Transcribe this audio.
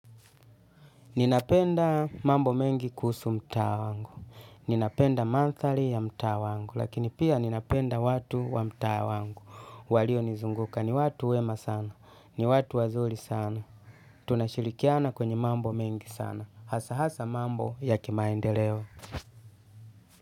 Ninapenda mambo mengi kuhusu mtaa wangu. Ninapenda mandhari ya mtaa wangu. Lakini pia ninapenda watu wa mtaa wangu walio nizunguka ni watu wema sana. Ni watu wazuri sana. Tunashirikiana kwenye mambo mengi sana. Hasa hasa mambo ya kimaendeleo.